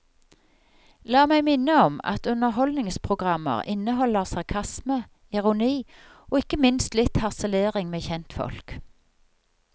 La meg minne om at underholdningsprogrammer inneholder sarkasme, ironi, og ikke minst litt harselering med kjentfolk.